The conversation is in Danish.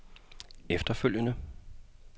efterfølgende